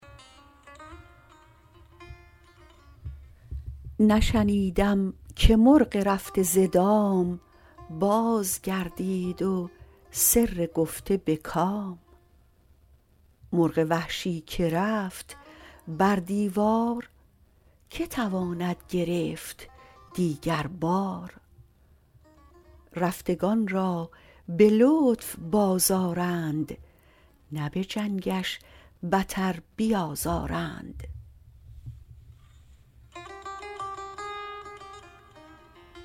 نشنیدم که مرغ رفته ز دام باز گردید و سر گفته به کام مرغ وحشی که رفت بر دیوار که تواند گرفت دیگر بار رفتگان را به لطف باز آرند نه به جنگش بتر بیازارند